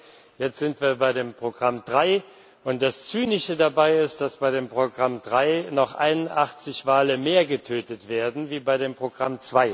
2. Jetzt sind wir bei dem Programm 3, und das Zynische dabei ist, dass bei dem Programm 3 noch 81 Wale mehr getötet werden als bei dem Programm